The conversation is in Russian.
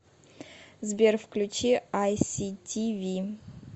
сбер включи ай си ти ви